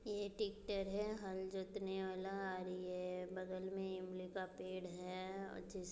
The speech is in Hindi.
ये ट्रेक्टर है हल जोतने वाला आरी ये बगल में इमली का पेड़ हैं और जिस--